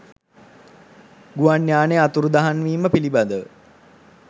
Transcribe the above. ගුවන් යානය අතුරුදහන්වීම පිළිබඳව